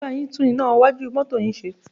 Mo máa bá yín tún iná iwájú mọ́tọ́ yín ṣe.